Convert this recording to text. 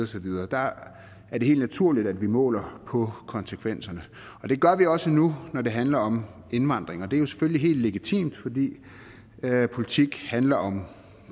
så videre der er det helt naturligt at vi måler på konsekvenserne og det gør vi også nu når det handler om indvandring og det er jo selvfølgelig helt legitimt fordi politik handler om